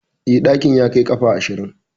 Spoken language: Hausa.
Eh, ɗakin ya kai ƙafa ashirin.